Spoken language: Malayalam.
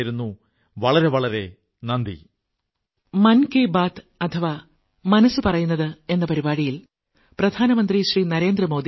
എന്നാൽ ഒരു കാര്യം ഓർമ്മ വയ്ക്കൂ ഉത്സവകാലത്ത് വിശേഷിച്ചും ഓർക്കൂ മാസ്കണിയണം കൈകൾ സോപ്പുകൊണ്ടു കഴുകണം രണ്ടുകൈ അകലം പാലിക്കണം